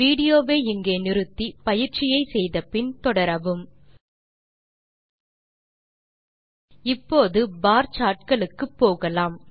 video வை இங்கே pause செய்க பின் வரும் சோதனையை செய்து பார்த்து பின் வீடியோ வை மீண்டும் துவக்கவும் இப்போது பார் சார்ட் களுக்கு போகலாம்